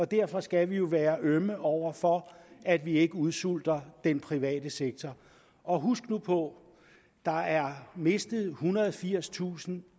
derfor skal vi jo være ømme over for at vi ikke udsulter den private sektor og husk nu på at der er mistet ethundrede og firstusind